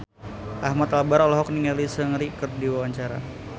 Ahmad Albar olohok ningali Seungri keur diwawancara